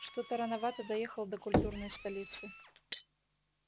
что-то рановато доехал до культурной столицы